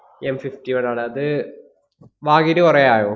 M fifty one ആണ്. അത് വാങ്ങീട്ട് കൊറേ ആയോ?